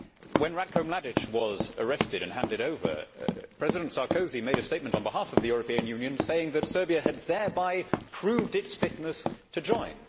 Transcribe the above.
When Ratko Mladić was arrested and handed over, President Sarkozy made a statement on behalf of the European Union saying that Serbia had thereby proved its fitness to join.